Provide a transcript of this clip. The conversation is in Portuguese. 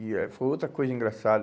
E eh foi outra coisa engraçada.